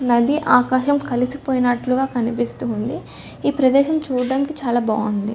నది ఆకాశం కలిసిపోయినట్లుగా కనిపిస్తుంది ఉంది ఈ ప్రదేశం చుడానికి చాల బాగుంది